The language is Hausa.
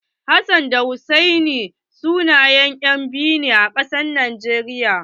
Hassan da Hussaini sunayen maza 'yan biyu ne a arewacin najeriya.